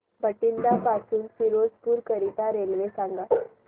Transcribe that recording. बठिंडा पासून फिरोजपुर करीता रेल्वे सांगा